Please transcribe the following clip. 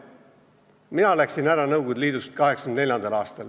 Mina läksin Nõukogude Liidust ära 1984. aastal.